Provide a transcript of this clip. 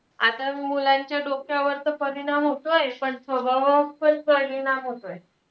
आता मुलांच्या डोक्यावर तर परिणाम होतोय, पण स्वभावात पण परिणाम होतोय.